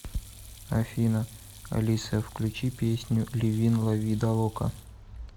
афина алиса включи песню ливин ла ви далока